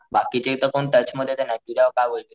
बाकीचे तर कोण टच मध्ये तर नाहि तुझ्या काही ओळखी,